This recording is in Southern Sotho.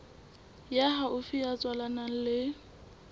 ya haufi ya tswalanang le